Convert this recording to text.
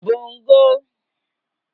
bongo